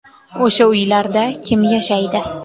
O‘sha uylarda kim yashaydi?